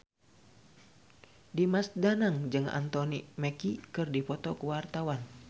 Dimas Danang jeung Anthony Mackie keur dipoto ku wartawan